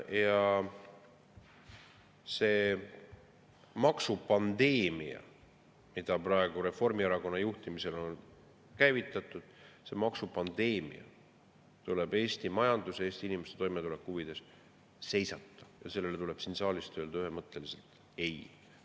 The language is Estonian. Ja see maksupandeemia, mis praegu Reformierakonna juhtimisel on käivitatud, tuleb Eesti majanduse, Eesti inimeste toimetuleku huvides seisata ja sellele tuleb siit saalist öelda ühemõtteliselt ei.